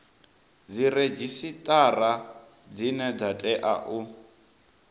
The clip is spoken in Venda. dziredzhisitara dzine dza tea u